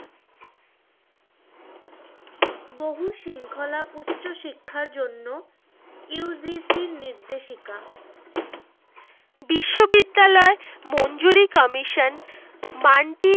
বহু শৃঙ্খলা উচ্চ শিক্ষার জন্য UCG নির্দেশিকা, বিশ্ববিদ্যালয় মঞ্জুরী commision